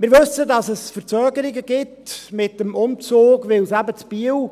Wir wissen, dass es Verzögerungen gibt mit dem Umzug, weil es eben in Biel